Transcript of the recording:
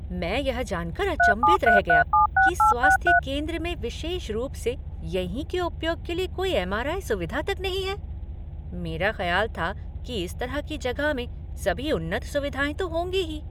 मैं यह जानकर अचंभित रह गया कि स्वास्थ्य केंद्र में विशेष रूप से यहीं के उपयोग के लिए कोई एम, आर, आई, सुविधा तक नहीं है। मेरा खयाल था कि इस तरह की जगह में सभी उन्नत सुविधाएं तो होंगी ही।